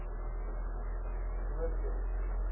noordwes